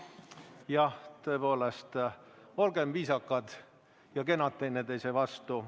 Jah, tõepoolest, olgem viisakad ja kenad teineteise vastu.